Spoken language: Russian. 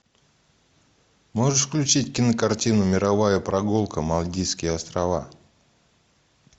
можешь включить кинокартину мировая прогулка мальдивские острова